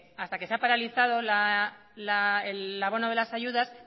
hasta que se ha paralizado el abono de las ayudas